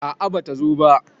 a a ba ta zo ba